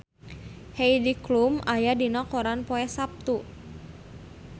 Heidi Klum aya dina koran poe Saptu